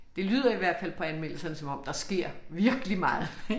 Det lyder i hvert fald på anmeldelserne som om der sker virkelig meget